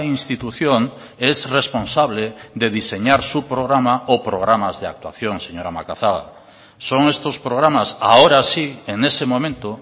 institución es responsable de diseñar su programa o programas de actuación señora macazaga son estos programas ahora sí en ese momento